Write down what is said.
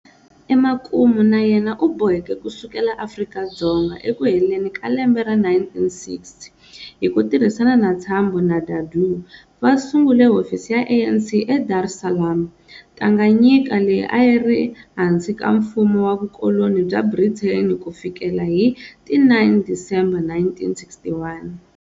Emakumu na yena u boheke ku sukela Afrika-Dzonga ekuheleni ka lembe ra 1960, hi ku tirhisana na Tambo na Dadoo, va sungule hofisi ya ANC eDar es Salaam, Tanganyika leyi a yi ri hansi ka mfumo wa Vukoloni bya Brithani ku fikela hi ti 9 Disemba 1961.